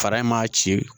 Fara in ma ci